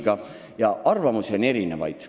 Nii et arvamusi on erinevaid.